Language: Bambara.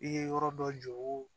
I ye yɔrɔ dɔ jɔ o